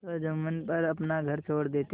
तो जुम्मन पर अपना घर छोड़ देते थे